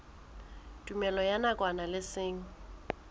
tumellano ya nakwana le seng